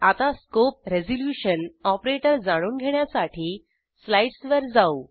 आता scope resolution operator जाणून घेण्यासाठी स्लाईडसवर जाऊ